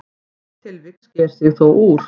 Eitt tilvik sker sig þó úr.